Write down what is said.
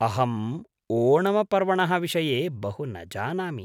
अहम् ओणमपर्वणः विषये बहु न जानामि।